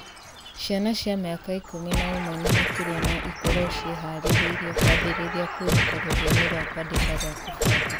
Ciana cia mĩaka 11 na makĩria no ikorũo ciĩhaarĩirie kwambĩrĩria kwĩruta rũthiomi rwa kwandĩka rwa kũbanga